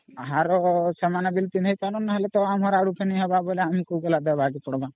ହାର ସେମାନେ ବି ପିନ୍ଧେଇ ପରାନ୍ତ ନହେଲେ ଆମର ଆଡୁ ଫେଣି ହବ ହେଲେ ଆମକୁ ଦେବାକେ ପଡିବା